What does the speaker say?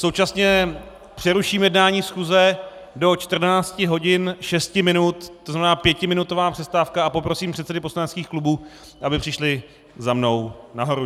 Současně přeruším jednání schůze do 14 hodin 6 minut, to znamená pětiminutová přestávka, a poprosím předsedy poslaneckých klubů, aby přišli za mnou nahoru.